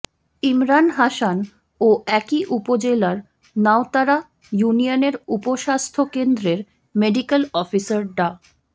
ইমরান হাসান ও একই উপজেলার নাউতারা ইউনিয়নের উপ স্বাস্থ্য কেন্দ্রের মেডিক্যাল অফিসার ডা